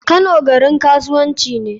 Kano garin kasuwanci ne.